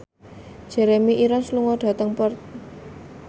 Jeremy Irons lunga dhateng Perth